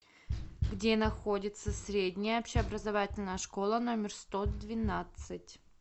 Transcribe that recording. где находится средняя общеобразовательная школа номер сто двенадцать